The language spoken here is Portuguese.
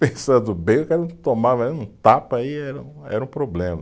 Pensando bem, o cara tomava aí, um tapa aí era, era um problema.